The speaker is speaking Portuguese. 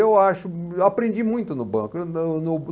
Eu acho, eu aprendi muito no banco.